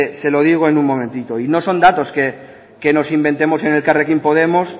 se lo digo en un momentito y no son datos que nos inventemos en elkarrekin podemos